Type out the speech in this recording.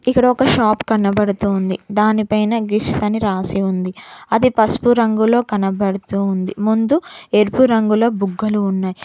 ఇక్కడ ఒక షాప్ కనబడుతోంది దానిపైన గిఫ్ట్ అని రాసి ఉంది అది పసుపు రంగులో కనబడుతుంది ముందు ఎరుపు రంగులో బుగ్గలు ఉన్నాయి.